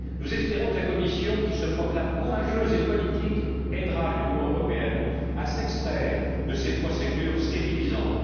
Nous espérons que la Commission, qui se proclame courageuse et politique, aidera l'Union européenne à s'extraire de ces procédures stérilisantes.